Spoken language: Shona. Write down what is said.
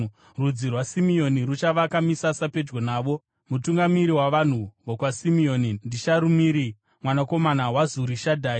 Rudzi rwaSimeoni ruchavaka misasa pedyo navo. Mutungamiri wavanhu vokwaSimeoni ndiSharumiri mwanakomana waZurishadhai.